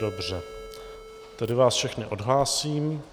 Dobře, tedy vás všechny odhlásím.